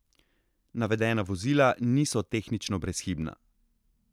Navedena vozila niso tehnično brezhibna.